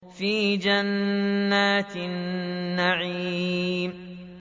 فِي جَنَّاتِ النَّعِيمِ